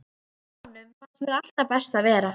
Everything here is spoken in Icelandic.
Hjá honum fannst mér alltaf best að vera.